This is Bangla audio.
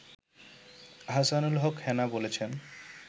আহসানুল হক হেনা বলেছেন